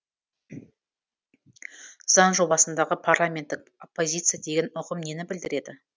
заң жобасындағы парламенттік оппозиция деген ұғым нені білдіреді